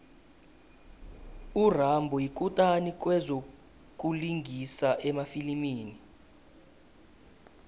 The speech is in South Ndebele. urambo yikutani kwezokulingisa emafilimini